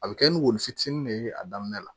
A bɛ kɛ ni woyo fitinin de ye a daminɛ la